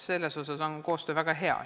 Selles osas on koostöö väga hea.